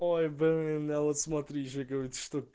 ой блин я вот смотри же говорю